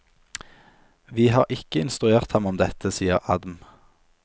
Vi har ikke instruert ham om dette, sier adm.